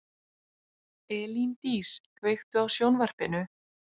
Elíndís, kveiktu á sjónvarpinu.